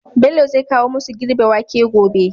Bello zai kawo masu girbe wake gobe